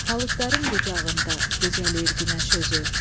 Palıqların qucağında gecəlir günəş özü.